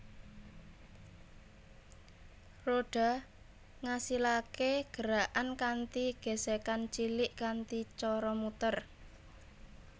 Rodha ngasilaké gerakan kanthi gesekan cilik kanthi cara muter